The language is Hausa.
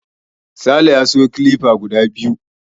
Sale ya siyo kilifa guda biyu.